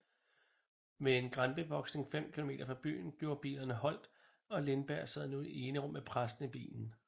Ved en granbevoksning 5 km fra byen gjorde bilerne holdt og Lindberg sad nu i enrum med præsten i bilen